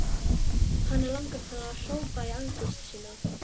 Hana langar til að hrópa í angist sinni.